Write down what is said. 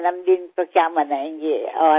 वाढदिवस काय साजरा करायचा